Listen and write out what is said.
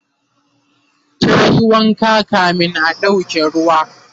tayi wanka kamin a ɗauke ruwa